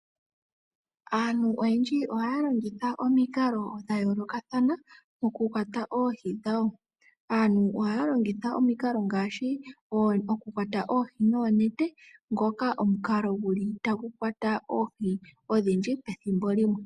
Aantu oyendji ohaa longitha omikalo dhayoolokathana moku kwata oohi dhawo. Aantu ohaya longitha omikalo ngaashi oku kwata oohi noonete ngoka gulu omukalo tagu kwata oohi odhindji pethimbo limwe.